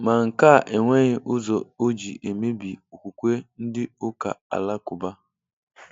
Ma nke a enweghị ụzọ ọ jị emebi okwukwe ndị ụka Alakuba